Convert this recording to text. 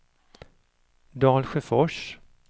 Dalsjöfors